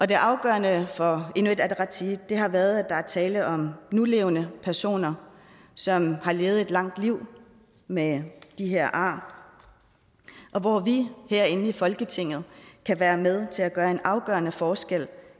det afgørende for inuit ataqatigiit har været at der er tale om nulevende personer som har levet et langt liv med de her ar og hvor vi herinde i folketinget kan være med til at gøre en afgørende forskel